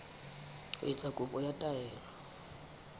ho etsa kopo ya taelo